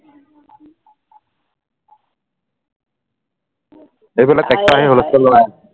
এইফালে টেক্টৰ আহি হূলস্থুল লগাই আছে